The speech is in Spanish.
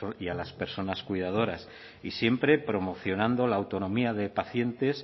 y a las personas cuidadoras y siempre promocionando la autonomía de pacientes